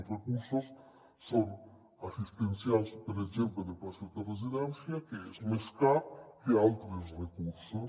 els recursos són assistencials per exemple de places de residència que són més cars que altres recursos